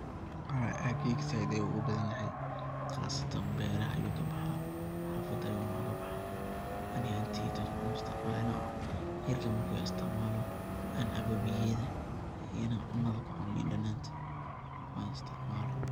Haa aggeyga zaid uu ogubadanyahay qasatan beeraha ayu kabaxa xafada ayu nogakabaxa ani ahanteyda wax u isticmalo hergab marku ihaayo aan isticmalo aan cabo biyaheda iyo ina cuunada kucuuno liin dhananta oo aan isticmalo.